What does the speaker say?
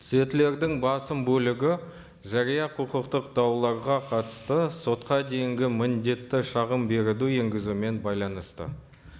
түзетулердің басым бөлігі жария құқықтық дауларға қатысты сотқа дейінгі міндетті шағын беруді енгізумен байланысты